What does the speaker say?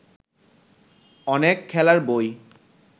অনেক খেলার বই